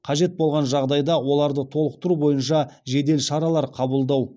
қажет болған жағдайда оларды толықтыру бойынша жедел шаралар қабылдау